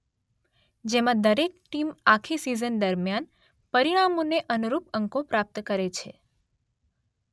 જેમાં દરેક ટીમ આખી સિઝન દરમિયાન પરિણામોને અનુરૂપ અંકો પ્રાપ્ત કરે છે